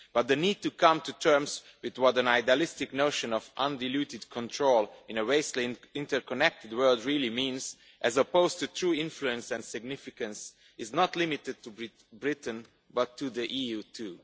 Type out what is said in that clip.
But the need to come to terms with what an idealistic notion of undiluted control' in a vastly interconnected world really means, as opposed to true influence and significance, is not limited to Britain, but applies to the EU too.